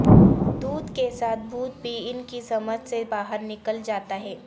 دودھ کے ساتھ بھوت بھی ان کی سمجھ سے باہر نکل جاتا ہے